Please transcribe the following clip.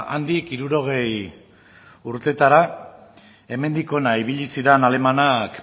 handik berrogeita hamar urtetara hemendik ona ibili ziran alemanak